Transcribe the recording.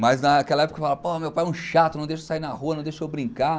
Mas naquela época eu falava, meu pai é um chato, não deixa eu sair na rua, não deixa eu brincar.